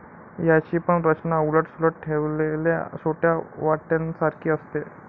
याची पण रचना उलट सुलट ठेवलेल्या छोट्या वाट्यांसारखी असते.